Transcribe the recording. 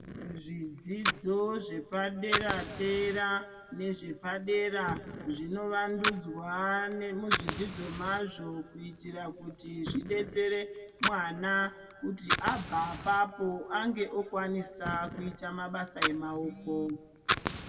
Zvidzidzo zvepa dera dera nezvepadera zvinovandudzwa nemuzvidzidzo mazvo, kuyitira kuti zvidetsere mwana kuti abva apapo ange okwanisa kuyita mabasa emawoko.